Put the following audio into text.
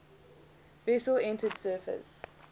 vessel entered service